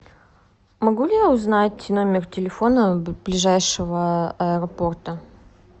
могу ли я узнать номер телефона ближайшего аэропорта